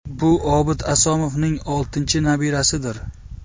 Bu Obid Asomovning oltinchi nabirasidir.